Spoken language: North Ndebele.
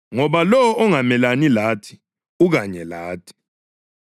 ngoba lowo ongamelani lathi ukanye lathi.